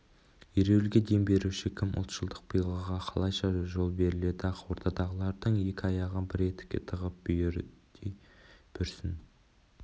ереуілге дем беруші кім ұлтшылдық пиғылға қалайша жол берілді ақ ордадағылардың екі аяғын бір етікке тығып бүйідей бүрсін